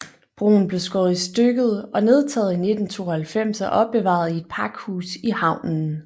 Broen blev skåret i stykket og nedtaget i 1992 og opbevaret i et pakhus i havnen